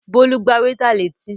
Bólú gbá wétà létí